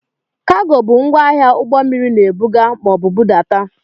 Kago bụ ngwaahịa ụgbọmmiri na-ebuga maọbụ budata.